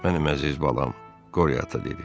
Mənim əziz balam, Qori ata dedi.